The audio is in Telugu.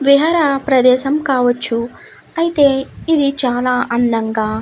విహార ప్రదేశం కావచ్చు ఐతే ఇది చాల అందంగా--